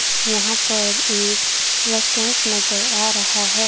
यहां पर एक रेस्टोरेंट नजर आ रहा है।